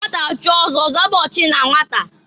Nnwata chie ọzọ, ọzaba ochi na nwata.